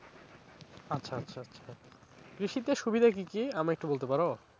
আচ্ছা আচ্ছা আচ্ছা কৃষিতে সুবিধা কি কি আমায় একটু বলতে পারো?